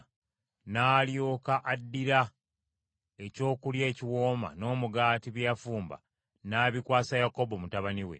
N’alyoka addira ekyokulya ekiwooma n’omugaati bye yafumba, n’abikwasa Yakobo mutabani we.